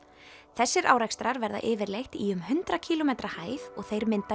þessir árekstrar verða yfirleitt í um hundrað kílómetra hæð og þeir mynda